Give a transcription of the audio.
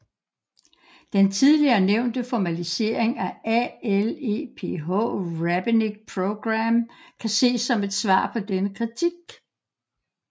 Den tidligere nævnte formalisering af ALEPH Rabbinic Program kan ses som et svar på denne kritik